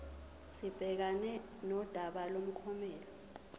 sibhekane nodaba lomklomelo